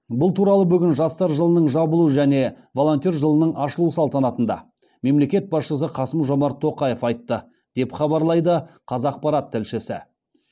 бұл туралы бүгін жастар жылының жабылу және волонтер жылының ашылу салтанатында мемлекет басшысы қасым жомарт тоқаев айтты деп хабарлайды қазақпарат тілшісі